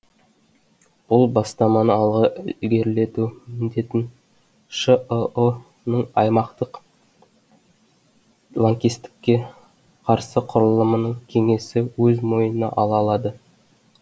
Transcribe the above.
бұл бастаманы алға ілгерілету міндетін шыұ ның аймақтық лаңкестікке қарсы құрылымының кеңесі өз мойнына ала алады